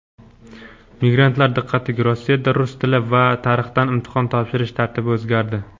Migrantlar diqqatiga: Rossiyada rus tili va tarixdan imtihon topshirish tartibi o‘zgardi.